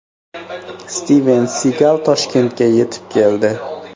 Stiven Sigal Toshkentga yetib keldi .